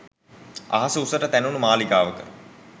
අහස උසට තැනුණු මාලිගාවක